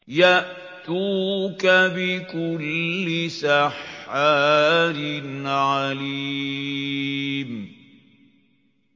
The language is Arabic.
يَأْتُوكَ بِكُلِّ سَحَّارٍ عَلِيمٍ